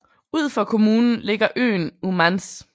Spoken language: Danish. Ud for kommunen ligger øen Ummanz